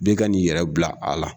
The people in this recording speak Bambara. Bɛɛ ka n'i yɛrɛ bila a la.